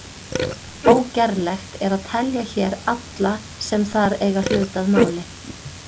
Ógerlegt er að telja hér alla sem þar eiga hlut að máli.